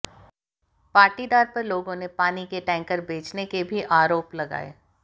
पाटीदार पर लोगों ने पानी के टैंकर बेचने के भी आरोप लगाए